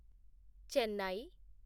Chennai